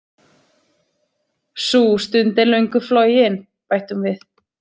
Sú stund er löngu flogin, bætti hún við.